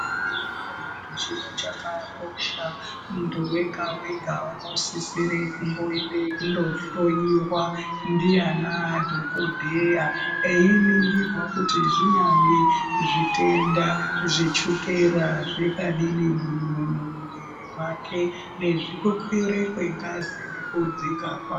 ...hwemunhu chiro chakakosha. Muntu wega-wega unosiisire kumboende kundohloiwa, ndianadhokodheya einingirwa kuti zvinyari zvitenda zvechukera zvingadini mumumwiri mwake nezvekukwire kwengazi nezvekudzika kwayo.